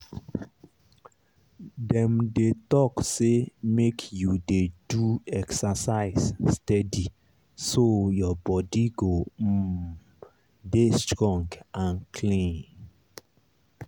dem dey talk say make you dey do exercise steady so your body go um dey strong and clean.